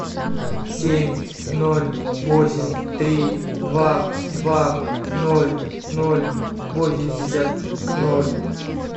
семь ноль восемь три два два ноль ноль восемьдесят ноль